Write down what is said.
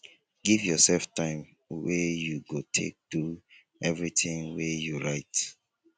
give yourself time wey you go take do everything wey you write